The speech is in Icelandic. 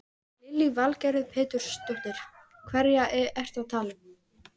Lillý Valgerður Pétursdóttir: Hverja ertu að tala um?